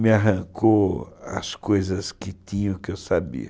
Me arrancou as coisas que tinha, que eu sabia.